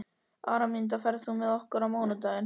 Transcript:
Araminta, ferð þú með okkur á mánudaginn?